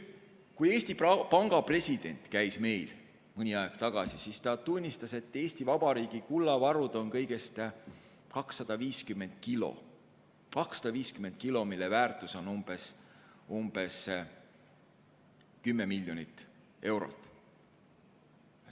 Kui Eesti Panga president meil siin mõni aeg tagasi rääkimas käis, tunnistas ta, et Eesti Vabariigi kullavaru on kõigest 250 kilo ja selle väärtus on umbes 10 miljonit eurot.